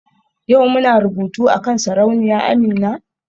Yau muna rubutu akan Sarauniya Amina?